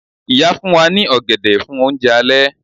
Ìyá fún wa ní ọ̀gẹ̀dẹ̀ fún oúnjẹ alẹ́